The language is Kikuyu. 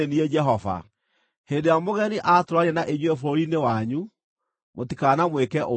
“ ‘Hĩndĩ ĩrĩa mũgeni aatũũrania na inyuĩ bũrũri-inĩ wanyu, mũtikanamwĩke ũũru.